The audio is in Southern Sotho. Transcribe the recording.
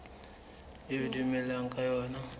eo ho dumellanweng ka yona